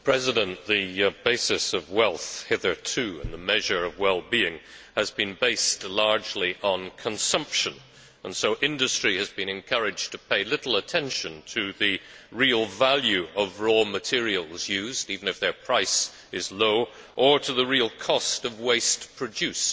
Hitherto, the creation of wealth and the measure of well being have been based largely on consumption, and so industry has been encouraged to pay little attention to the real value of raw materials used, even if their price is low, or to the real cost of waste produced.